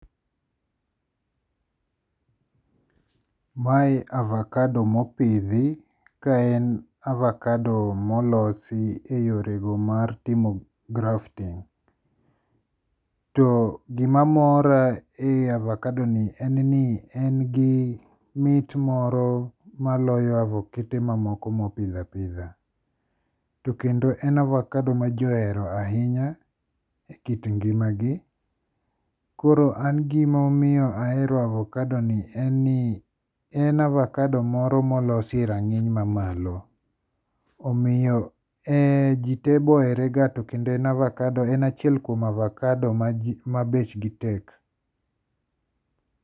Mae avakado mopithi, ka en avakado molosi e yorego mar timo grafting, to gimamora e avakadoni en ni en gi mit moro maloyo avokete mamoko mopith apitha, to kendo en avokado maji ohero ahinya e kit ngi'magi. Koro an gima omiyo ahero avokadoni en ni en avokado moro ma olosi e range'ny mamalo, omiyo ji tee boherega to kendo en avakado, an achiel kuom avakado ma bechgi tek.